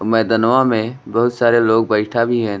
मैदनवा में बहुत सारे लोग बइठा भी है।